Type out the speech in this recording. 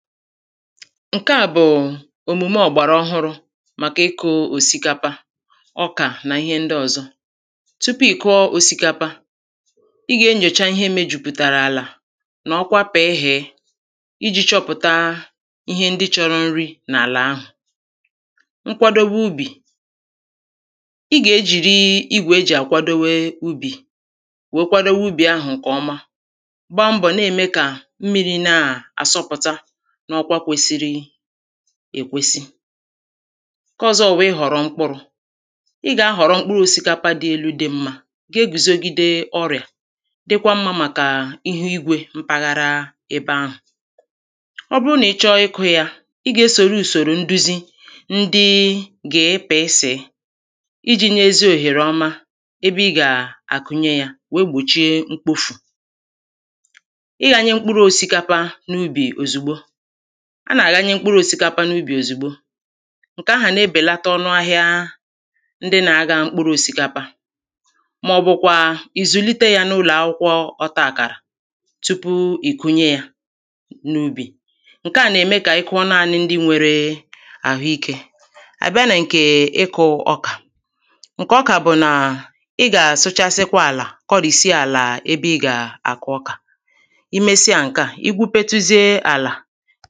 Ǹke à bụ̀ òmùme ọ̀gbàràọhụrụ̄ màkà ịkụ̄ òsìkapa ọkà nà ihe ndị ọ̄zọ̄ Tupu ị̀ kụọ osikapa ị gà-enyòcha ihe mejùpụ̀tàrà àlà nà ọkwa pị̀ịhị̀ị ijī chọpụ̀ta… ihe ndị chọ̄rọ̄ nri n’àlà ahụ̀ Nkwadowe ubì: i gà-ejìri igwè e jì àkwadowe ubì wèe kwadowe ubì ahụ̀ ǹkè ọma gba mbọ̀ na-ème kà mmirī na-àsọpụ̀ta n’ọkwa kwesịrị èkwesi Ǹke ọ̄zọ̄ bụ̀ ịhọ̀rọ̀ mkpụrụ̄; ị gà-ahọ̀rọ mkpụrụ osikapa dị elū dị mmāị gà-ahọ̀rọ mkpụrụ osikapa dị elū dị mmā ga-egùzogide ọrịà dịkwa mmā màkà ihuigwē mpaghara ebe ahụ̀ Ọ bụrụ nà ị chọọ ịkụ̄ yā, ị gà-esòro ùsòrò nduzi ndị GPS ijī nyē ezi òhèrè ọma ebe ị gà-àkụnye yā, wère gbòchiē mkpofù Ịghānyē mkpụrụ osikapa n’ubì òzùgbo: a nà-àghanye mkpụrụ òsìkapa n’ubì òzùgbo, ǹke ahụ̀ nà-ebèlata ọnụahịa ndị nā-āghā mkpụrụ òsìkapa màọ̀bụ̀kwà ị̀ zùlite yā n’ụlọ̀akwụkwọ ọtaàkàrà tupu ị̀ kụnye yā n’ubì. Ǹke à nà-ème kà ị kụọ nanị̄ ndị nwērē àhụīkē À bịa nà ǹkè ịkụ̄ ọkà ǹkè ọkà bụ̀ nà ị gà-àsụchasịkwa àlà, kọrìsie àlà ebe ị gà-àkụ ọkà I mesịa ǹke à, i gwupetuzie àlà...